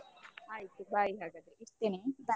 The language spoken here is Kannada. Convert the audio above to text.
ಆಯ್ತು bye ಹಾಗಾದ್ರೆ ಇಡ್ತೇನೆ.